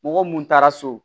Mɔgɔ mun taara so